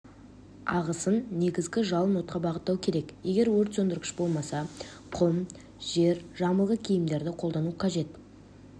ағысын негізгі жалын отқа бағыттау керек егер өртсөндіргіш болмаса құм жер жамылғы киімдерді қолдану қажет